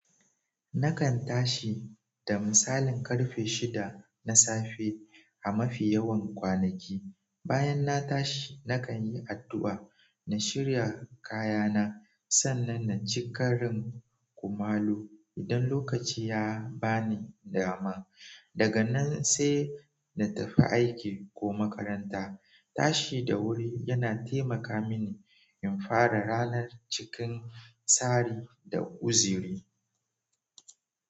Nakan tashi da misalin karfe shida na safe a mafi yawan kwanaki. Bayan na tashi nakan yi addu'a, na shirya kaya na sannan na ci karin kumallo idan lokaci ya bani dama. Daga nan sai na tafi aiki ko makaranta. Tashi da wuri yana taimaka mini in fara ranar cikin tsari da kuzari.